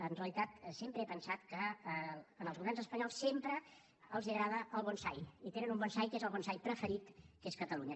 en realitat sempre he pensat que als governs espanyols sempre els agrada el bonsai i tenen un bonsai que és el bonsai preferit que és catalunya